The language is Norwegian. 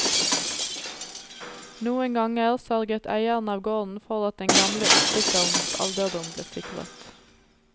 Noen ganger sørget eieren av gården for at den gamle oppsitterens alderdom ble sikret.